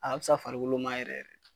A ka fisa farikolo ma yɛrɛ .